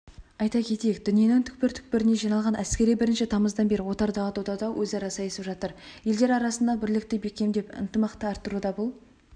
айта кетейік дүниенің түкпір-түкпірінен жиналған әскери бірінші тамыздан бері отардағы додада өзара сайысып жатыр елдер арасындағы бірлікті бекемдеп ынтымақты арттыруда бұл